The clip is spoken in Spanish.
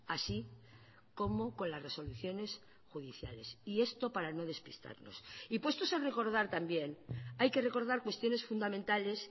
así como con las resoluciones judiciales y esto para no despistarnos y puestos a recordar también hay que recordar cuestiones fundamentales